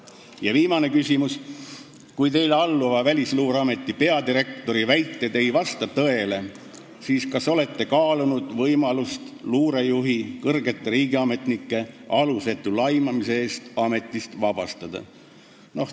" Ja viimane küsimus: "Kui teile alluva Välisluureameti peadirektori väited ei vasta tõele, siis kas olete kaalunud võimalust luurejuht kõrgete riigiametnike alusetu laimamise eest ametist vabastada?